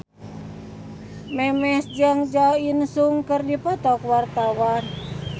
Memes jeung Jo In Sung keur dipoto ku wartawan